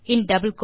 3